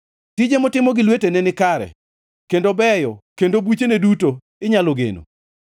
Tije motimo gi lwetene nikare kendo beyo kendo buchene duto inyalo geno.